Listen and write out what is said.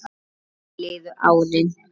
Þannig liðu árin.